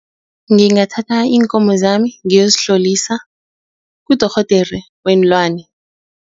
Ngingathatha iinkomo zami ngiyozihlolisa kudorhodere weenlwane.